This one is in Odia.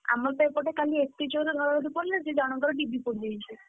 ଆମର ତ ଏପଟେ କାଲି ଏତେ ଜୋରେ ଘଡଘଡି ପଡିଲା ଯେ, ଜଣଙ୍କର ଡିବି ପୋଡ଼ିଯାଇଛି।